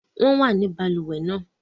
Wọ́n wà nínú balùwẹ̀ náà